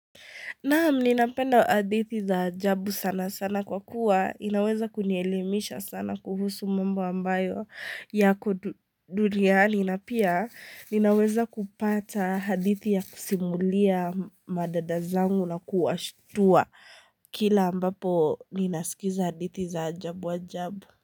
Naam, ninapenda hadithi za ajabu sana sana kwa kuwa, inaweza kunielemisha sana kuhusu mambo ambayo ya ku duniani. Na pia, ninaweza kupata hadithi ya kusimulia madada zangu na kuwashtua kila ambapo ninasikiza hadithi za ajabu ajabu.